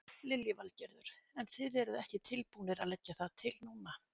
Lillý Valgerður: En þið eruð ekki tilbúnir að leggja það til núna?